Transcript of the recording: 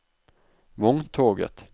vogntoget